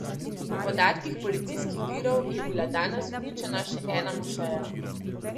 Po podatkih policijskih virov je bila danes uničena še ena mošeja.